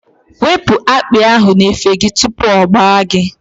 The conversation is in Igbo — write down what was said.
Wepụ akpi ahụ n'efe gị tupu ọ gbaa gị!